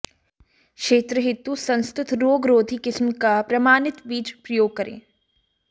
क्षेत्र हेतु संस्तुत रोग रोधी किस्म का प्रमाणित बीज प्रयोग करें